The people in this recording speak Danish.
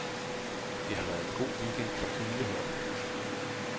Det har været en god weekend for hele holdet.